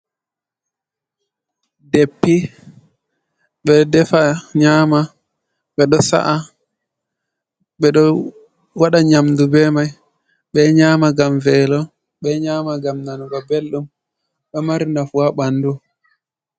Deppi: Ɓeɗo defa nyama, ɓeɗo sa’a, ɓedo waɗa nyamdu be mai. Ɓeɗo nyama gam velo, ɓeɗo nyama ngam nanugo beldum. Ɗo mari nafu ha bandu.